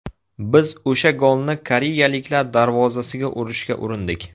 Biz o‘sha golni koreyaliklar darvozasiga urishga urindik.